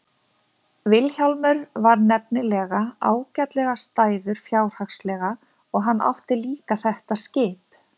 Vilhjálmur var nefnilega ágætlega stæður fjárhagslega og hann átti líka þetta skip.